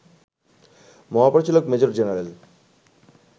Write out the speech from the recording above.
মহাপরিচালক major general